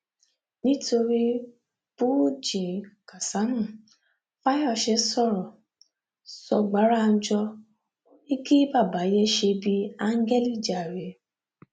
nítorí búrùjí kàsámù fáyọsé sọrọ sọ̀gbàránjọ kí bàbá yéé ṣe bíi áńgẹlì jàre